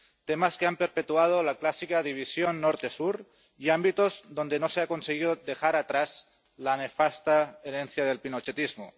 Temas que han perpetuado la clásica división norte sur y ámbitos donde no se ha conseguido dejar atrás la nefasta herencia del pinochetismo.